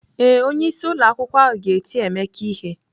Ee, onyeisi ụlọ akwukwo ahụ ga ti Emeka ihe.